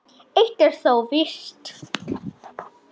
Eitt er þó víst.